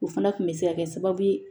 O fana kun bɛ se ka kɛ sababu ye